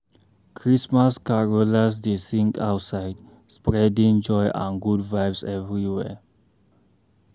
Christmas carolers dey sing outside, spreading joy and good vibes everywhere.